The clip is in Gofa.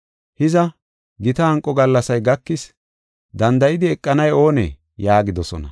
Hiza, gita hanqo gallasay gakis; danda7idi eqanay oonee?” yaagidosona.